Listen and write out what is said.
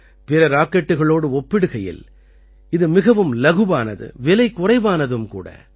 பிற ராக்கெட்டுக்களோடு ஒப்பிடுகையில் இது மிகவும் லகுவானது விலை குறைவானதும் கூட